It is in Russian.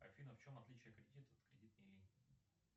афина в чем отличия кредита от кредитной линии